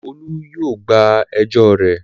Olú yóò gba ẹjọ́ rẹ.